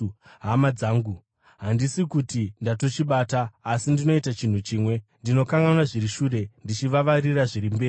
Hama dzangu, handisi kuti ndatochibata. Asi ndinoita chinhu chimwe: Ndinokanganwa zviri shure ndichivavarira zviri mberi,